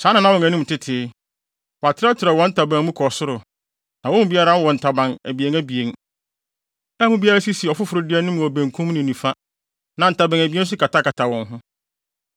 Saa na na wɔn anim tete. Wɔatrɛtrɛw wɔn ntaban mu kɔ soro; na wɔn mu biara wɔ ntaban abien abien, a mu biara si ɔfoforo de anim wɔ benkum ne nifa, na ntaban abien nso katakata wɔn ho.